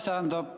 Aitäh!